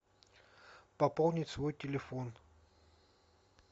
пополнить свой телефон